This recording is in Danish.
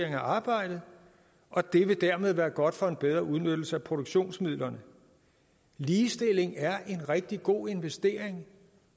af arbejdet og det vil dermed være godt for en bedre udnyttelse af produktionsmidlerne ligestilling er en rigtig god investering